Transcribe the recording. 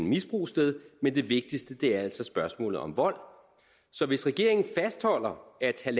misbrug sted men det vigtigste er altså spørgsmålet om vold så hvis regeringen fastholder